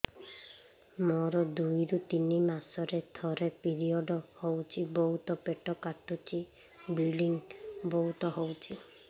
ମୋର ଦୁଇରୁ ତିନି ମାସରେ ଥରେ ପିରିଅଡ଼ ହଉଛି ବହୁତ ପେଟ କାଟୁଛି ବ୍ଲିଡ଼ିଙ୍ଗ ବହୁତ ହଉଛି